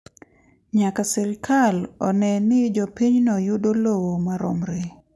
Nyaka sirkal one ni jopinyno yudo lowo maromre.